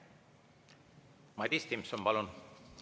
Madis Timpson, palun!